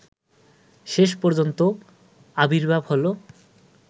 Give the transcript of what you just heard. শেষ পর্যন্ত আবির্ভাব হলো